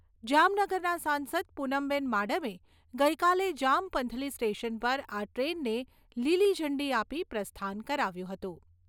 જામનગરના સાંસદ પૂનમબેન માડમે ગઈકાલે જામપંથલી સ્ટેશન પર આ ટ્રેનને લીલીઝંડી આપી પ્રસ્થાન કરાવ્યું હતું.